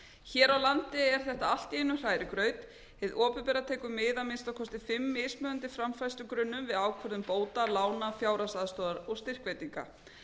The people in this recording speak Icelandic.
hér á landi er þetta allt í einum hrærigraut hið opinbera tekur mið af að minnsta kosti fimm mismunandi framfærslugrunnum við ákvörðun bóta lána fjárhagsaðstoðar og styrkveitinga